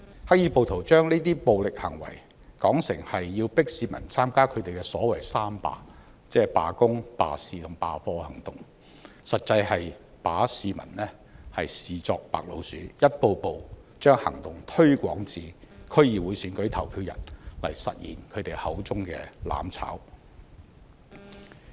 黑衣暴徒把這些暴力行為，說成是要迫市民參加他們的所謂"三罷"，即罷工、罷市和罷課行動，實際是把市民視作白老鼠，一步步把行動推向區議會選舉投票日，來實現他們口中的"攬炒"。